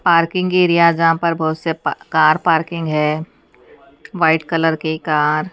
parking area है जहां पर बहोत से पा कार पार्किंग है वाइट कलर की कार --